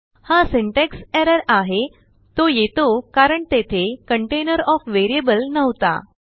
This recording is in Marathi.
हाsyntax errorआहेतो येतो कारणतेथेcontainer ओएफ variableनव्हता